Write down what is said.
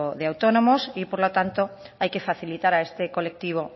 de autónomos y por lo tanto hay que facilitar a este colectivo